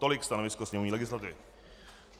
Tolik stanovisko sněmovní legislativy.